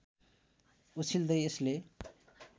उछिन्दै यसले